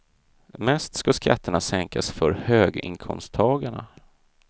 Mest ska skatterna sänkas för höginkomsttagarna.